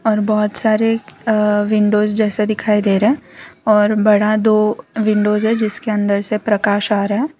और बहुत सारे अह विंडो जैसा दिखाई दे रहा है और बड़ा दो विंडोज है जिसके अंदर से प्रकाश आ रहा है।